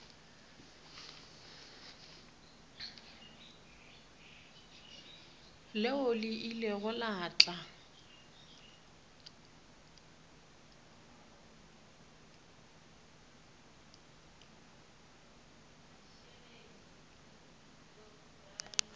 leo le ilego la tla